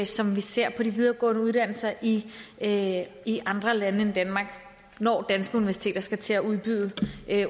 som vi ser på de videregående uddannelser i i andre lande end danmark når danske universiteter skal til at udbyde